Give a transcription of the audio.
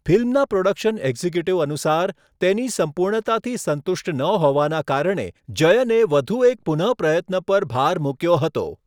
ફિલ્મના production executive અનુસાર, તેની સંપૂર્ણતાથી સંતુષ્ટ ન હોવાના કારણે જયને વધુ એક પુનઃપ્રયત્ન પર ભાર મૂક્યો હતો.